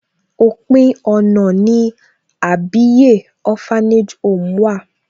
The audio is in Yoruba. Òpin ọ̀nà ni Àbíyè Orphanage home wà.